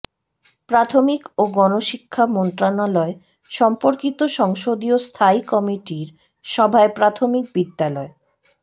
প্রাথমিক ও গণশিক্ষা মন্ত্রণালয় সম্পর্কিত সংসদীয় স্থায়ী কমিটির সভায় প্রাথমিক বিদ্যালয়ে